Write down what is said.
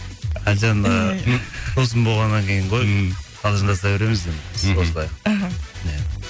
әлжан ііі досым болғаннан кейін ғой ммм қалжындаса береміз енді біз осылай іхі иә